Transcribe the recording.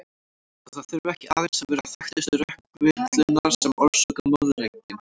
Og það þurfa ekki aðeins að vera þekktustu rökvillurnar sem orsaka moðreykinn.